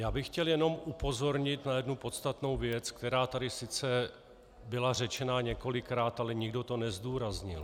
Já bych chtěl jenom upozornit na jednu podstatnou věc, která tady sice byla řečena několikrát, ale nikdo to nezdůraznil.